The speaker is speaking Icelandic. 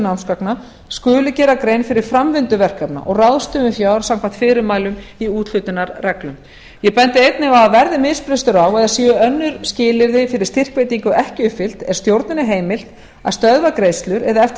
námsgagna skuli gera grein fyrir framvindu verkefna og ráðstöfun fjárins samkvæmt fyrirmælum í úthlutunarreglum ég bendi einnig á að verði misbrestur á eða séu önnur skilyrði fyrir styrkveitingu ekki uppfyllt er stjórninni heimilt að stöðva greiðslur eða eftir